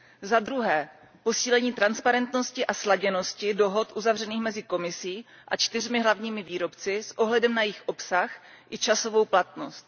Za druhé, posílení transparentnosti a sladěnosti dohod uzavřených mezi Komisí a čtyřmi hlavními výrobci s ohledem na jejich obsah i časovou platnost.